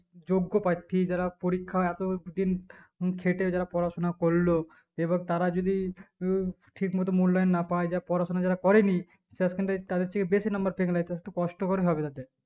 যোগ প্রার্থী যারা পরীক্ষায় এতো দিন খেতে যারা পড়াশোনা করলো এবার তারা যদিই ঠিক মতো মূল্যায়ণ না পাই যা পড়াশোনা যারা করে নি শেষ খান থেকে তাদেরকেই বেশি নম্বর পেংলিয়েছে একটু কষ্টকর হবে তাদের